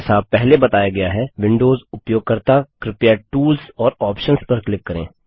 जैसा पहले बताया गया है विंडोज़ उपयोगकर्ता कृपया टूल्स और आप्शंस पर क्लिक करें